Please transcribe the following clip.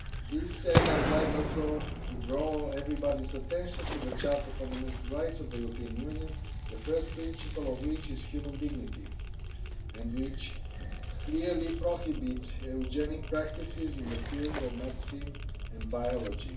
This said, I would like also to draw everyone's attention to the Charter of Fundamental Rights of the European Union, the first principle of which is human dignity, and which clearly prohibits eugenic practices in the fields of medicine and biology.